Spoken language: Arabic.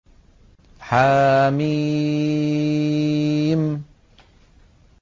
حم